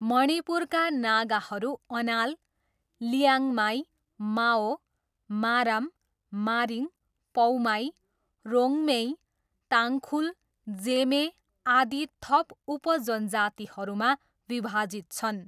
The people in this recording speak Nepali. मणिपुरका नागाहरू अनाल, लिआङ्माई, माओ, मारम, मारिङ, पौमाई, रोङ्मेई, ताङ्खुल, जेमे, आदि थप उप जनजातिहरूमा विभाजित छन्।